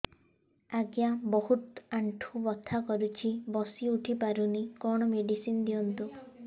ଆଜ୍ଞା ବହୁତ ଆଣ୍ଠୁ ବଥା କରୁଛି ବସି ଉଠି ପାରୁନି କଣ ମେଡ଼ିସିନ ଦିଅନ୍ତୁ